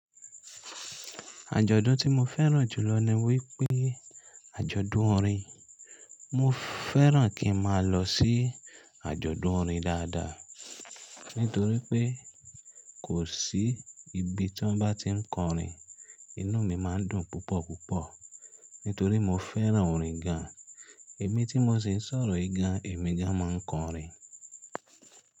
Àjọ̀dún tí mo fẹ́ràn jùlọ ni wípé àjọ̀dún orin. Mo fẹ́ràn kí n má a lọ sí àjọ̀dún orin dáadáa, nítorí pé kò sí ibi tí wọ́n bá ti ń kọrin, inú mi má ń dùn púpọ̀ púpọ̀. Nítorí mo fẹ́ràn orin gan. Èmi tí mo sì ń sọ̀rọ̀ yi gan, èmi gan máa ń kọrin.